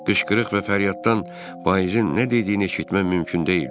Qışqırıq və fəryaddan Vaizin nə dediyini eşitmək mümkün deyildi.